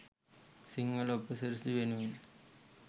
සිංහල උපසිරැසිය වෙනුවෙන්.